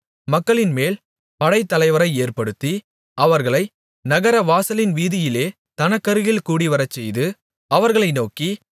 மக்களின்மேல் படைத்தலைவரை ஏற்படுத்தி அவர்களை நகரவாசலின் வீதியிலே தன்னருகில் கூடிவரச்செய்து அவர்களை நோக்கி